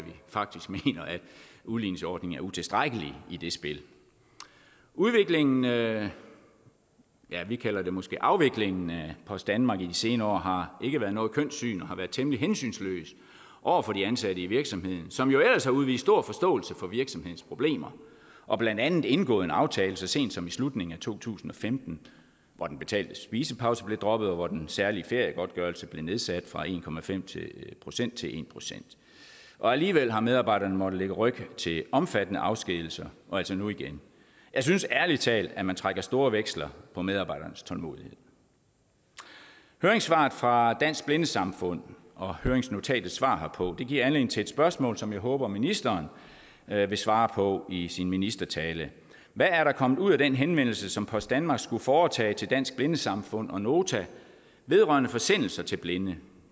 udligningsordningen er utilstrækkelig i det spil udviklingen ja vi kalder det måske afviklingen af post danmark i de senere år har ikke været noget kønt syn og har været temmelig hensynsløs over for de ansatte i virksomheden som jo ellers har udvist stor forståelse for virksomhedens problemer og blandt andet indgået en aftale så sent som i slutningen af to tusind og femten hvor den betalte spisepause blev droppet og hvor den særlige feriegodtgørelse blev nedsat fra en procent til en procent alligevel har medarbejderne måtte lægge ryg til omfattende afskedigelser og altså nu igen jeg synes ærlig talt at man trækker store veksler på medarbejdernes tålmodighed høringssvaret fra dansk blindesamfund og høringsnotatets svar herpå giver anledning til et spørgsmål som jeg håber ministeren vil svare på i sin ministertale hvad er der kommet ud af den henvendelse som post danmark skulle foretage til dansk blindesamfund og nota vedrørende forsendelser til blinde